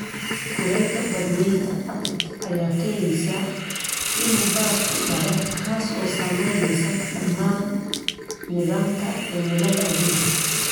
Kulaylka badweynta Arctic ayaa keenaysa in barafku dhalaalo, kaas oo saameeya dhammaan nidaamka cimilada adduunka.